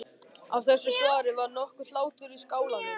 Af þessu svari varð nokkur hlátur í skálanum.